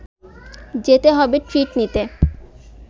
যেতে হবে ট্রিট নিতে